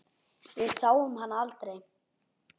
Við sáum hann aldrei.